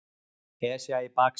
Esja í baksýn.